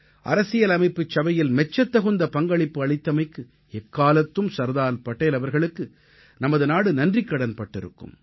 அரசியலமைப்புச் சபையில் மெச்சத்தகுந்த பங்களிப்பு அளித்தமைக்கு எக்காலத்தும் சர்தார் படேல் அவர்களுக்கு நமது நாடு நன்றிக்கடன் பட்டிருக்கும்